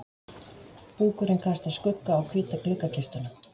Búkurinn kastar skugga á hvíta gluggakistuna.